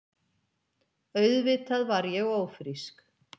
Auðvitað var ég ófrísk.